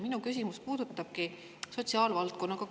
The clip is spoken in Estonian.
Minu küsimus puudutabki koostööd sotsiaalvaldkonnaga.